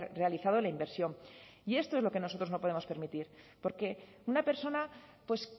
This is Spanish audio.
realizado la inversión y esto es lo que nosotros no podemos permitir porque una persona pues